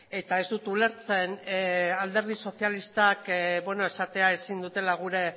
eta ez dut ulertzen alderdi sozialistak esatea ezin dutela gure